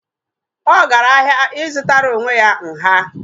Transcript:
Ọ gara ahịa ị zụtara onwe ya nha